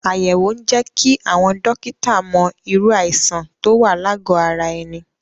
Àyẹ̀wò ń jẹ́ kí àwọn dọ́kítà mọ irú àìsàn tó wà lágọ̀ ara ẹni.